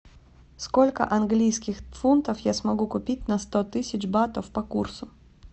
сколько английских фунтов я смогу купить на сто тысяч батов по курсу